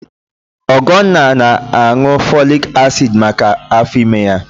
Ọgọnna na-aṅụ fọlik asid maka afọ ime ya